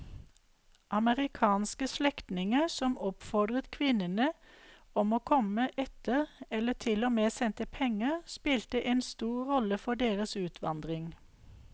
Amerikanske slektninger som oppfordret kvinnene om å komme etter eller til og med sendte penger spilte en stor rolle for deres utvandring.